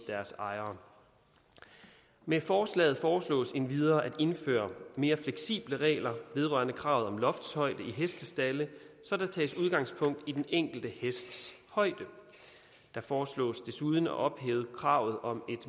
deres ejere med forslaget foreslås det endvidere at indføre mere fleksible regler vedrørende kravet om loftshøjde i hestestalde så der tages udgangspunkt i den enkelte hests højde det foreslås desuden at ophæve kravet om